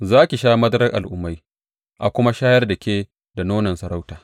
Za ki sha madarar al’ummai a kuma shayar da ke da nonon sarauta.